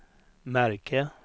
märke